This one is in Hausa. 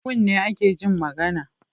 Da kunne ake Jin magAna